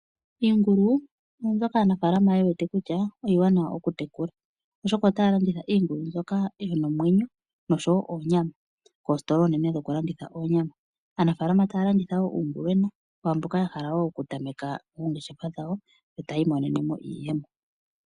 Iingulu oombyoka aanafaalama yewete kutya iiwanawa okutekula oshoka otaya longitha iingulu mbyoka yina omwenyo noshowo oonyama koositola oonene ndhokulanditha oonyama . Aanafaalama taya landitha woo uungulwena kwaamboka ya hala woo okutameka oongeshefa dhawo ,tayi imonenemo iiyemo.